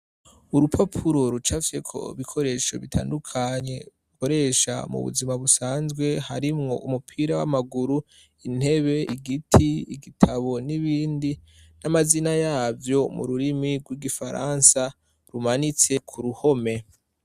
Urupapuro rucafyeko ibikoresho bitandukanye ,ukoresha mu buzima busanzwe ,harimwo umupira w'amaguru ,intebe, igiti, igitabo, n'ibindi n'amazina yavyo, mu rurimi rw'igifaransa ,rumanitse ku ruhome.